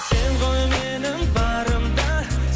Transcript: сен ғой менің барым да